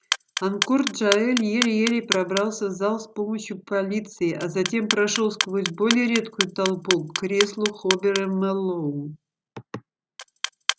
анкор джаэль еле-еле пробрался в зал с помощью полиции а затем прошёл сквозь более редкую толпу к креслу хобера мэллоу